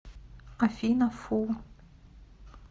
афина фу